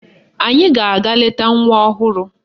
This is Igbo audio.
Anyị ga-aga leta nwa ọhụrụ